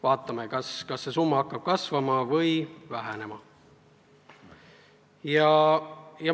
Vaatame, kas see summa hakkab kasvama või vähenema.